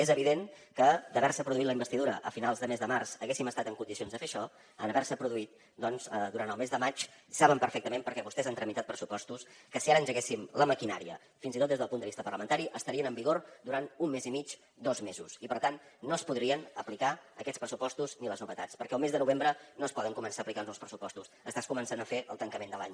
és evident que si s’hagués produït la investidura a finals de mes de març haguéssim estat en condicions de fer això en haver se produït doncs durant el mes de maig saben perfectament perquè vostès han tramitat pressupostos que si ara engeguéssim la maquinària fins i tot des del punt de vista parlamentari estarien en vigor durant un mes i mig dos mesos i per tant no es podrien aplicar aquests pressupostos ni les novetats perquè el mes de novembre no es poden començar a aplicar nous pressupostos estàs començant a fer el tancament de l’any